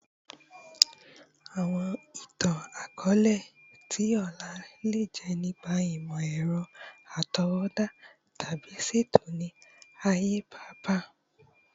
Awọn itan-akọọlẹ ti ọla le jẹ nipa imọ-ẹrọ atọwọda tabi ṣeto ni aaye paapaa